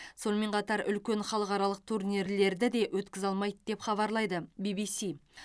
сонымен қатар үлкен халықаралық турнирлерді де өткізе алмайды деп хабарлайды ввс